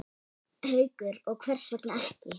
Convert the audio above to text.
Haukur: Og hvers vegna ekki?